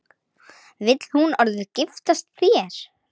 Vill hún orðið giftast þér?